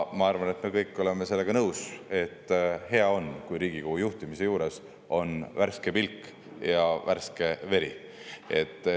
Ma arvan, et me kõik oleme sellega nõus, et on hea, kui Riigikogu juhtimise juures on värske pilk ja värske veri.